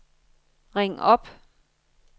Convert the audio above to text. ring op